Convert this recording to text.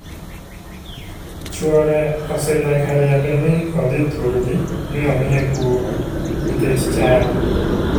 Chuore ose nyaka riembe mi odhi thurgi mi omiye kum nikech chadi.